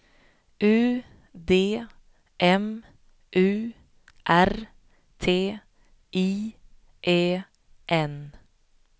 U D M U R T I E N